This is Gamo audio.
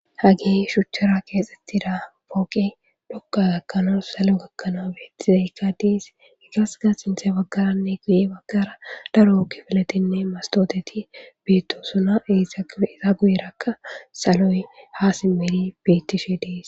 Hagey shuchara keexetida fooqey dhoqa gakanaw salo gakanaw beetizayka dees izaska sinthe baggarane guye baggara daro kifiletinne mastotetti beetosona eeta guyeraka saloy ha simidi beetishe dees.